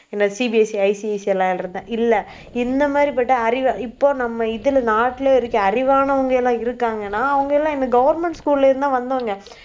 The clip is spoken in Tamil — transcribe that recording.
என்ன CBSEICSE ல இருந்ததா இல்லை இந்த மாதிரிப்பட்ட அறிவை இப்போ நம்ம இதுல நாட்டுல இருக்க அறிவானவங்க எல்லாம் இருக்காங்கன்னா அவங்க எல்லாம் என்ன government school ல இருந்து தான் வந்தவங்க